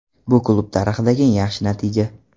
Bu klub tarixidagi eng yaxshi natija.